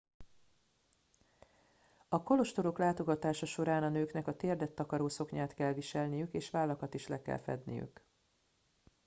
a kolostorok látogatása során a nőknek a térdet takaró szoknyát kell viselniük és vállakat is le kell fedniük